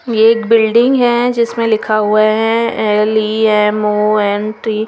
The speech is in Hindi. ये एक बिल्डिंग है जिसमे लिखा हुआ है एल_इ_ऍम_ओ_एन_टी --